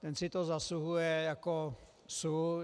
Ten si to zasluhuje jako sůl.